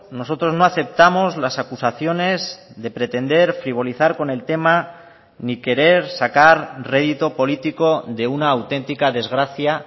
nosotros no aceptamos las acusaciones de pretender frivolizar con el tema ni querer sacar rédito político de una auténtica desgracia